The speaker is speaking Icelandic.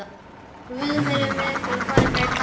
Guð veri með yður og farið gætilega.